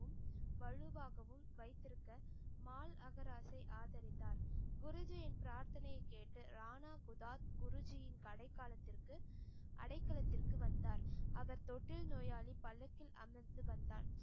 வழுவாகவும் வைத்திருக்க மாழ் அகராசை ஆதரித்தார் குருஜியின் பிரதனையை கேட்டு ரானாபுதாத் குருஜியின் கடைக்காலத்திற்கு அடைக்கலத்திற்கு வந்தார். அவர் தொட்டில் நோயாளி பல்லக்கில் அமர்ந்து வந்தார்.